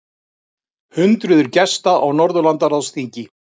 Hundruðir gesta á Norðurlandaráðsþingi